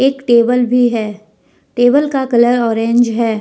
एक टेबल भी है टेबल का कलर ऑरेंज है।